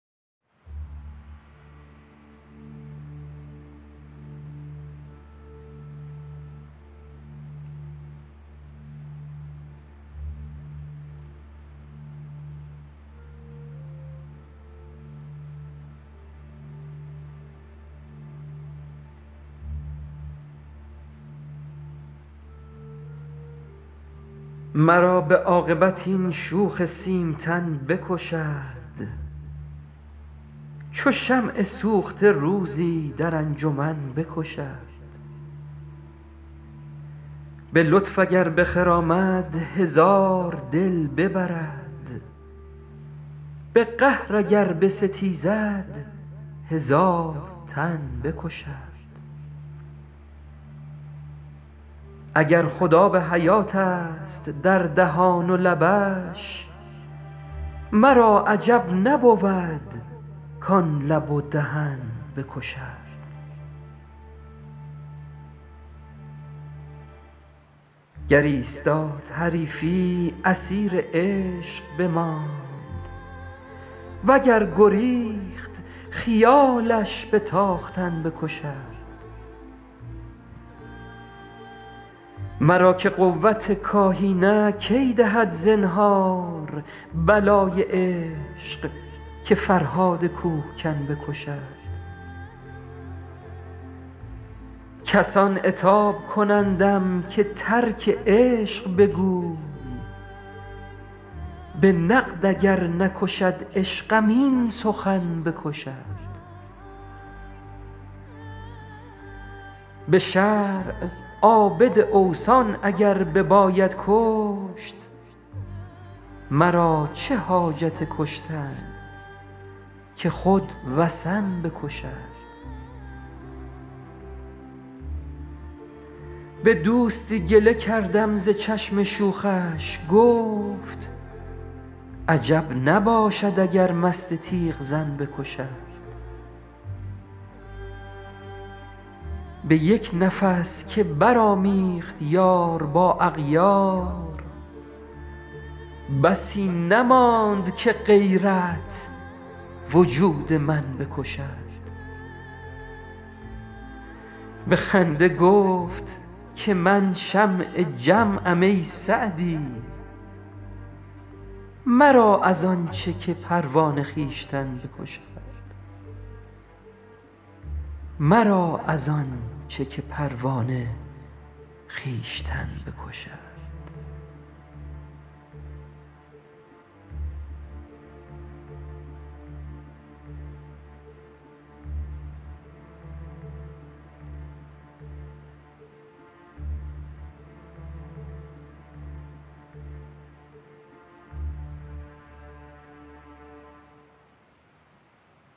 مرا به عاقبت این شوخ سیمتن بکشد چو شمع سوخته روزی در انجمن بکشد به لطف اگر بخرامد هزار دل ببرد به قهر اگر بستیزد هزار تن بکشد اگر خود آب حیاتست در دهان و لبش مرا عجب نبود کان لب و دهن بکشد گر ایستاد حریفی اسیر عشق بماند و گر گریخت خیالش به تاختن بکشد مرا که قوت کاهی نه کی دهد زنهار بلای عشق که فرهاد کوهکن بکشد کسان عتاب کنندم که ترک عشق بگوی به نقد اگر نکشد عشقم این سخن بکشد به شرع عابد اوثان اگر بباید کشت مرا چه حاجت کشتن که خود وثن بکشد به دوستی گله کردم ز چشم شوخش گفت عجب نباشد اگر مست تیغ زن بکشد به یک نفس که برآمیخت یار با اغیار بسی نماند که غیرت وجود من بکشد به خنده گفت که من شمع جمعم ای سعدی مرا از آن چه که پروانه خویشتن بکشد